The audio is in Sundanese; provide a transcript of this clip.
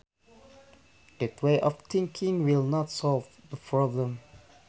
That way of thinking will not solve the problem